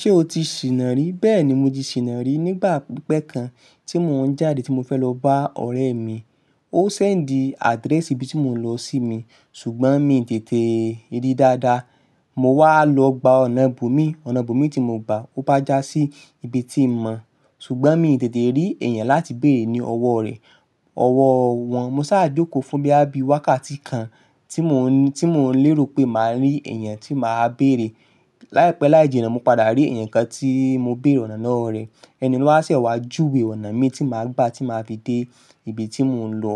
Ṣé o ti sìnà rí? Bẹ́ẹ̀ni, mo ti sìnà rí nígbà pípẹ́ kan tí mò ń jáde tí mo fẹ́ lọ bá ọ̀rẹ́ mi. Ó sẹ́ǹdì adrẹ́sì ibi tí mò ń lọ sí mi, ṣùgbọ́n mi tètè rí i dáadáa. Mo wá lọ gba ọ̀nà bòmíì, ọ̀nà bòmíì tí mo gba, ó bá já sí ibi tí mo mọ̀, ṣùgbọ́n mi tètè rí èèyàn láti béèrè ní ọwọ́ rẹ̀, ọwọ́ wọn. Mo sá jókòó fún boya bi wákàtí kan tí mò ń lérò pé màá rí èèyàn tí màá béèrè. Láìpẹ́ láìjina, mo padà rí èèyàn kan tí mo béèrè ọ̀nà lowo rẹ̀. Ẹni ló wá ṣẹ̀wá júwe ọ̀nà mi tí màá gba tí màá fi dé ibi tí mò ń lọ.